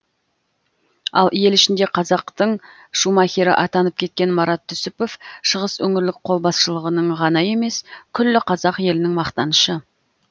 ал ел ішінде қазақтың шумахері атанып кеткен марат түсіпов шығыс өңірлік қолбасшылығының ғана емес күллі қазақ елінің мақтанышы